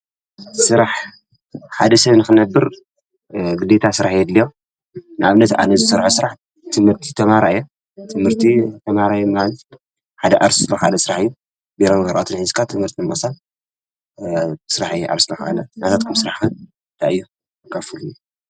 ሥራሕ ሓደ ሰብን ክነብር ግደታ ሠራሕየ ድል ናብ ነቲ ኣነዝ ሠርሖ ሥራሕ ትምህርቲ ተማራየ ትምህርቲ ተማራየ ማልዝ ሓደ ኣርስሎ ሓደ ሥሕ ቤሮም ዘርዖትን ኂዝካ ትምህርቲ መሳል ሥሕእ ዓርሥሕዓለ ናታጥኩም ሥራሕ ዳእየ ኣካፉልኒ።